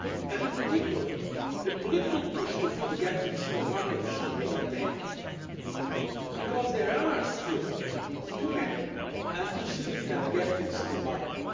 In particular, the political push to fill the gaps in the single market should be maintained because there are still too many and too significant gaps in the single market